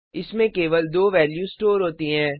इसमें केवल दो वैल्यू स्टोर होती हैं